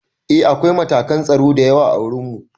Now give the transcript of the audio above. Eh akwai matakan tsaro da yawa ã wurin mu.